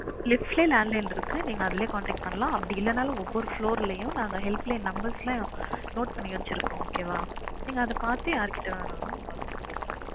Lift லயே landline இருக்கு நீங்க அதுலயே contact பண்ணலாம் அப்டி இல்லனாலும் ஒவ்வொரு floor லையும் நாங்க helpline numbers எல்லாம் note பண்ணி வச்சிருக்கோம் okay வா நீங்க அது பார்த்தே யார் கிட்ட வேணாலும் கால் பண்ணி கேட்டுக்கலாம்